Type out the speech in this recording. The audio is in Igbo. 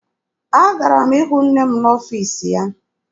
Agara m ịhụ nne m n'ọfiisi ya.